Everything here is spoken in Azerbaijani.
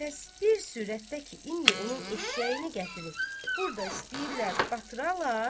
Bəs bir sürətdə ki, indi onun eşşəyini gətirib burda istəyirlər batıra.